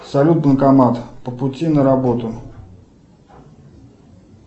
салют банкомат по пути на работу